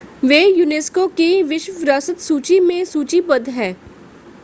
वे UNESCO की विश्व विरासत सूची में सूचीबद्ध हैं